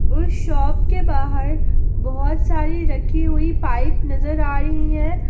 उस शॉप के बाहर बहोत सारी रखी हुई पाइप नजर आ रही है।